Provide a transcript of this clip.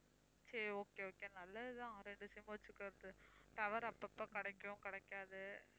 சரி okay okay நல்லதுதான் இரண்டு sim வச்சிக்கிறது tower அப்பப்ப கிடைக்கும் கிடைக்காது